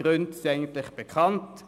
Die Gründe sind bekannt: